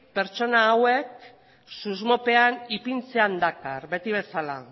pertsona hauek susmopean ipintzea dakar beti bezala